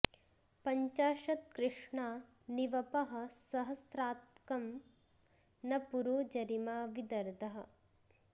पञ्चाशत्कृष्णा नि वपः सहस्रात्कं न पुरो जरिमा वि दर्दः